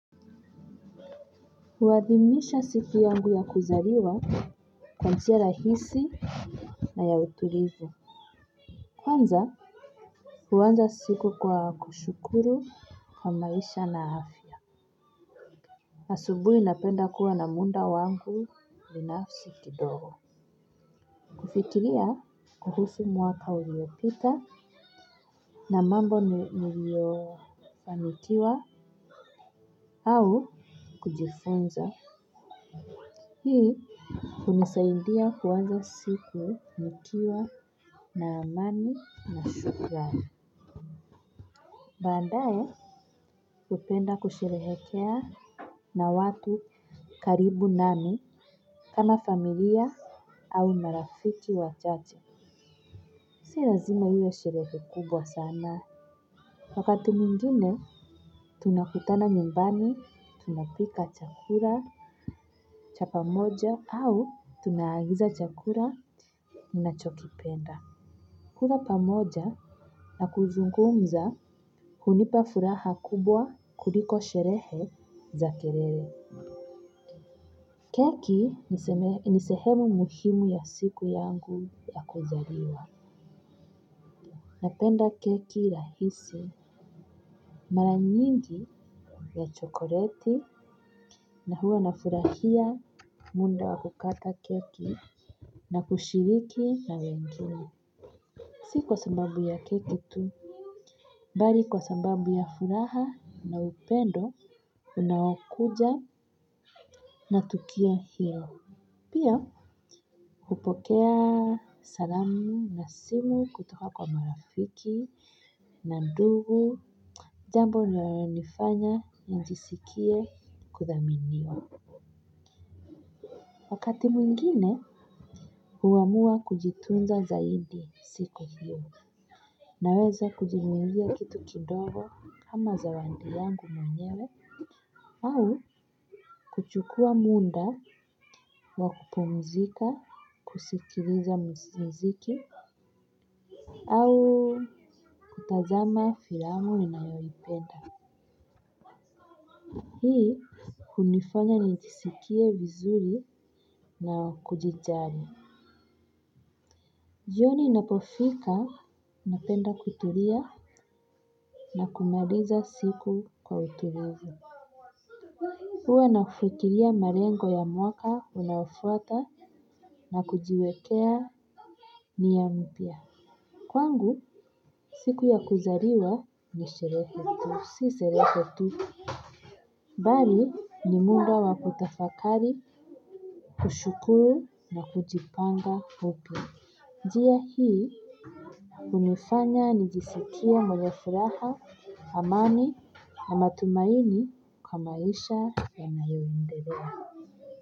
Huadhimisha siku yangu ya kuzaliwa kwa njia rahisi na ya utulivu kwanza huanza siku kwa kushukuru kwa maisha na afya asubuhi napenda kuwa na muda wangu binafsi kidogo kufikiria kuhusu mwaka uliopita na mambo niliyofanikiwa au kujifunza hii hunisaidia kuanza siku, nikiwa na amani na shukran. Baadae, hupenda kusherehekea na watu karibu nami, kama familia au marafiki wachache. Si lazima iwe sherehe kubwa sana. Wakati mwingine tunakutana nyumbani, tunapika chakula cha pamoja au tunaagiza chakula tunachokipenda kula pamoja na kuzungumza hunipa furaha kubwa kuliko sherehe za kelele. Keki nisehemu muhimu ya siku yangu ya kuzaliwa. Napenda keki rahisi mara nyingi ya chokoleti na huwa na furahia muda wa kukata keki na kushiriki na wengine. Si kwa sababu ya keki tu. Balii kwa sababu ya furaha na upendo unaokuja na tukio hiyo. Pia hupokea salamu na simu kutoka kwa marafiki na ndugu jambo linalonifanya njisikie kuthaminiwa. Wakati mwingine huamua kujitunza zaidi siku hiyo. Naweza kujinunulia kitu kidogo kama zawadi yangu mwenyewe au kuchukuwa muda wa kupumzika kusikiliza muziki au kutazama filamu ninayoipenda hii hunifanya nijisikie vizuri na kujijali jioni inapofika napenda kutulia na kumaliza siku kwa utulivu. Huwe nafirikiria malengo ya mwaka unaofuata na kujiwekea niya mpya kwangu siku ya kuzaliwa ni sherehe tu si sherehe tu bali ni muda wa kutafakari, kushukuru na kujipanga upya njia hii hunifanya nijisikie mwenye furaha amani na matumaini kwa maisha ya nayoendelea.